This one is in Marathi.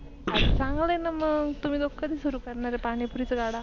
अरे चांगलय ना मग तुम्ही लोक कधी सुरु करणार आहे पाणी पुरी गाडा?